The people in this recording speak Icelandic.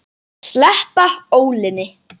Sleppa ólinni.